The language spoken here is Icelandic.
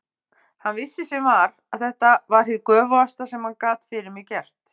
Hann vissi sem var að þetta var hið göfugasta sem hann gat fyrir mig gert.